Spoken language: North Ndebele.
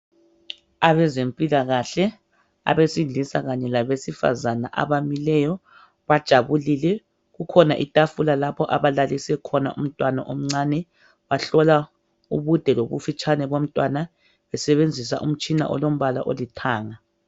Abazempilakahle abesilisa kanye labesifazana abamileyo bajabulile , kukhona itafula lapho abalalise khona umntwana omcane bahlola ubude lobufitshane bomntwana besebenzisa umtshina olombala olithanga